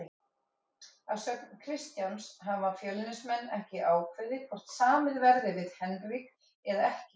Að sögn Kristjáns hafa Fjölnismenn ekki ákveðið hvort samið verði við Henrik eða ekki.